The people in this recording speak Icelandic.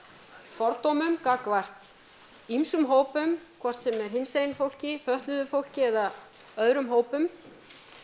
fordómum gagnvart ýmsum hópum hvort sem er hinsegin fólki fötluðu fólki eða öðrum hópum